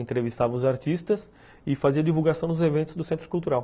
Entrevistava os artistas e fazia divulgação nos eventos do Centro Cultural.